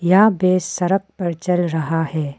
यहां भैंस सड़क पर चल रहा है।